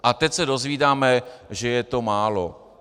A teď se dozvídáme, že je to málo.